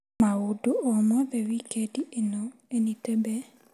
Maũndũ o mothe wikendi ĩno Enitebe?